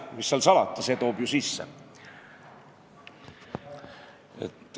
Mis seal salata, see toob ju sisse.